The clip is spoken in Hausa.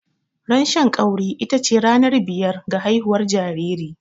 Ran Shan ƙauri ita ce ranar biyar ga haihuwar jariri.